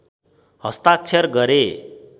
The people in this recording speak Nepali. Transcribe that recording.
हस्ताक्षर गरे